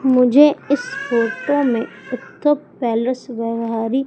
मुझे इस फोटो में एकता पैलेस व्यवहारी--